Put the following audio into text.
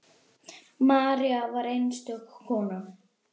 María var einstök kona.